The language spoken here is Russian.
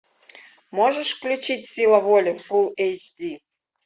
можешь включить сила воли фулл эйч ди